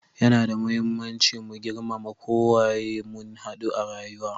Ya na da muhimmanci mu girmama ko waye mun hadu a rayuwa.